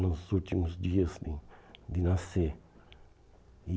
nos últimos dias né de nascer. E